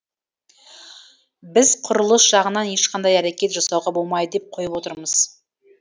біз құрылыс жағынан ешқандай әрекет жасауға болмайды деп қойып отырмыз